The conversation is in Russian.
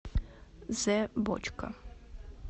зэбочка